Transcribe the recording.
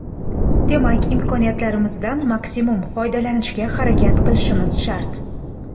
Demak, imkoniyatimizdan maksimum foydalanishga harakat qilishimiz shart.